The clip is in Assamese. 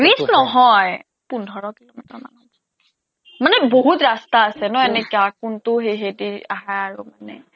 বিশ নহয় পোন্ধৰ কিলোমিটাৰ মান হ'ব মানে বহুত ৰাস্তা আছে ন এনেকুৱা কোনটো দি আহা আৰু মানে